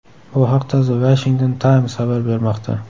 Bu haqda The Washington Times xabar bermoqda .